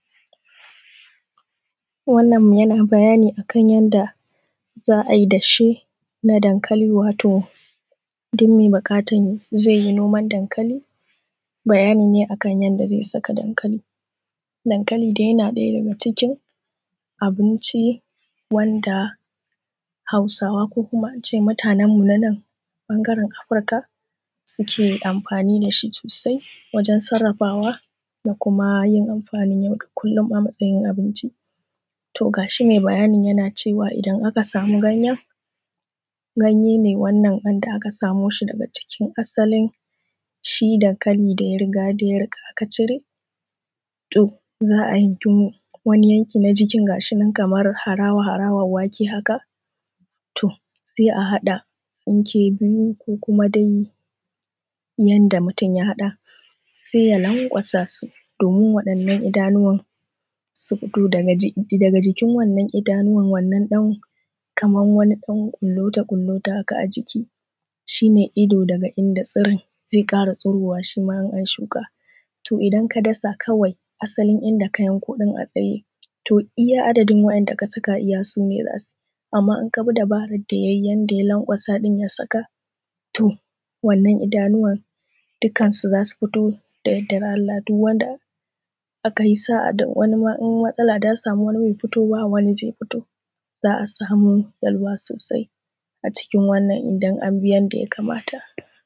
Wannan yana bayani akan yanda za'a dashe na dankali wato duk mai buƙatan zaiyi noman dankali, bayani ne kan ya da zai saka dankali. Dankali dai yana ɗaya daga cikin abinci wanda hausawa ko kuma ince mutanen mu na nan bangaren afrika suke amfani da shi sosai wajen sarrafawa da kuma yin amfanin yau da kullum a matsayin abinci. To gashi mai bayanin yana cewa idan aka samu ganyen, ganyen ne wannan da aka samo shi daga cikin asalin shi dankali da yariga da ya rika aka cire. To zaa yanki wani yanki na jikin na jikin gashinan kaman harawa harawa haka. um sai a haɗa tsinke biyu ko kuma dai yanda mutun ya hada, sai ya lankwasa su domin wa'yan'nan idanuwan su fito daga jikin wannan idanuwan kaman ɗan kullutu kullutu haka a ciki shine Ido daga inda zai ƙara tsirowa shima in an shuka. To idan ka dasa kawai asalin inda ka yanko ɗin a tsaye to iyya adadin wa'yan'da ka dasa iyya sune zasuyi, amma In kabi dabarar da yayi ya lankwasa ya saka to wannan idanuwan duka zasu fito. Da yardan Allah du wanda akai sa'a in matsala ta samu in wani bai fito ba wani zai fito za'a samu karuwa sosai a cikin wannan idan abi yanda ya kamata.